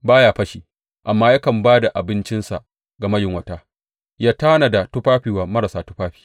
Ba ya fashi amma yakan ba da abincinsa ga mayunwata ya tanada tufafi wa marasa tufafi.